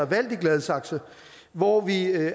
valgt i gladsaxe hvor vi